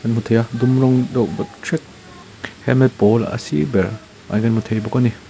hmu thei a dum rawng deuh hret helmet pawl a sir ber ah hian kan hmu thei bawk a ni.